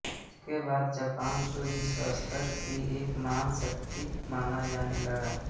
इसके बाद जापान को विश्वस्तर की एक महान शक्ति माना जाने लगा